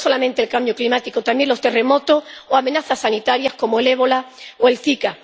Pero no es solamente el cambio climático, son también los terremotos o amenazas sanitarias como el ébola o el zika.